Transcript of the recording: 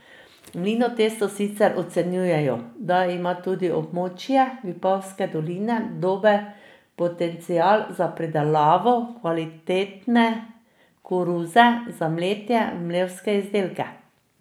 V Mlinotestu sicer ocenjujejo, da ima tudi območje Vipavske doline dober potencial za pridelavo kvalitetne koruze za mletje v mlevske izdelke.